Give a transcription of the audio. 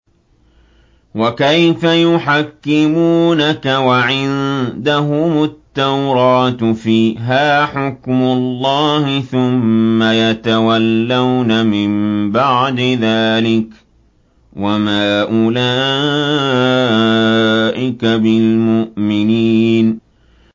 وَكَيْفَ يُحَكِّمُونَكَ وَعِندَهُمُ التَّوْرَاةُ فِيهَا حُكْمُ اللَّهِ ثُمَّ يَتَوَلَّوْنَ مِن بَعْدِ ذَٰلِكَ ۚ وَمَا أُولَٰئِكَ بِالْمُؤْمِنِينَ